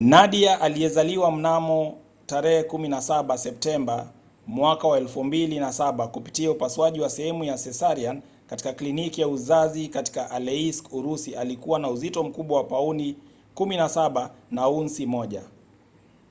nadia aliyezaliwa mnamo 17 septemba 2007 kupitia upasuaji wa sehemu ya cesarean katika kliniki ya uzazi katika aleisk urusi alikuwa na uzito mkubwa wa pauni 17 na aunsi 1